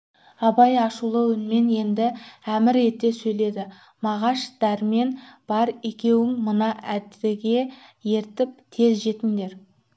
абай ашулы үнмен енді әмір ете сөйледі мағаш дәрмен бар екеуің мына әбдіге еріп тез жетіндер